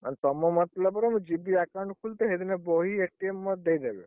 ମାନେ ତମ ମତଲବ ରେ ମୁ ଯିବି account ଖୁଲତେ ସେଦିନ ବହି ମୋର ଦେଇଦେବେ,